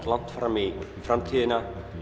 langt fram í framtíðina